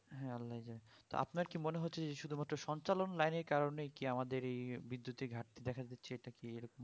হ্যাঁ আল্লায় জানে তো আপনার কি মনে হচ্ছে যে শুধু মাত্র সঞ্চালন line এর কারণেই কি আমাদের এই বিদ্যুৎ এর ঘাটতি দেখা দিচ্ছে এটা কি এরকম